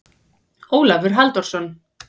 Ólafur Halldórsson.